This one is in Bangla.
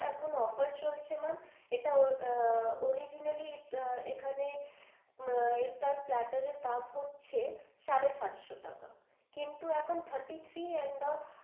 এটা offer চলছে ma'am এটা আহ originally এখানে এটা platter দাম হচ্ছে সাড়ে সাতশো টাকা কিন্তু এখন thirty-three end off,